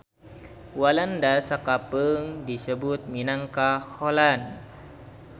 Walanda sakapeung disebut minangka Holland.